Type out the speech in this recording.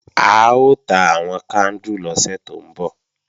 A ó ta àwọn kándù lọ́sẹ̀ tó ń bọ̀